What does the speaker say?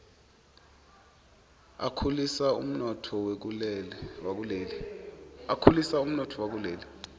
akhulisa umnotfo wakuleli